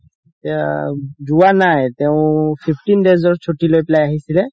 এতিয়া যোৱা নাই তেও fifteen days ৰ চুতি লৈ পেলাই আছিছিলে